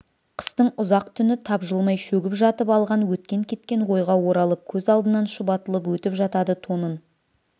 қыстың ұзақ түні тапжылмай шөгіп жатып алған өткен-кеткен ойға оралып көз алдынан шұбатылып өтіп жатады тонын